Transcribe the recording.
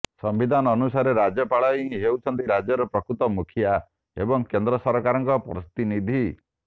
ସମ୍ବିଧାନ ଅନୁସାରେ ରାଜ୍ୟପାଳ ହିଁ ହେଉଛନ୍ତି ରାଜ୍ୟର ପ୍ରକୃତ ମୁଖିଆ ଏବଂ କେନ୍ଦ୍ର ସରକାରଙ୍କ ପ୍ରତିନିଧି